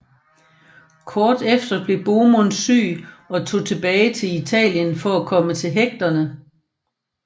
Kort efter blev Bohemund syg og tog tilbage til Italien for at komme til hægterne